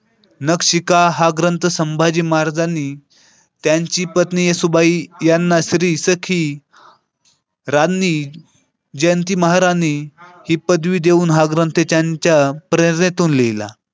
नक्षिका हा ग्रंथ संभाजी महाराजांनी त्यांची पत्नी येसुबाई यांना श्री सखी राणी जयंती महारानी ही पदवी देऊन हा ग्रंथ त्यांच्या प्रेरणेतून लिहला.